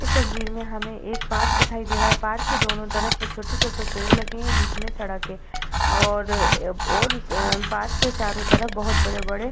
इस तस्वीर में हमें एक पार्क दिखाई दे रहा हैं। पार्क के दोनों तरफ छोटे-छोटे पेड़ लगे हैं। बीच में सड़क है और और ाम पार्क के चारों तरफ बहोत बड़े-बड़े --